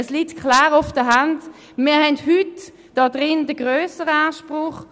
Es liegt klar auf der Hand, wir haben hier heute den grösseren Anspruch.